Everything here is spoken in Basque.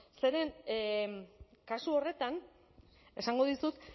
zeren kasu horretan esango dizut